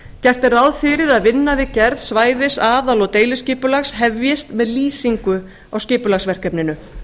gert er ráð fyrir að vinna við gerð svæðis aðal og deiliskipulags hefjist með lýsingu á skipulagsverkefninu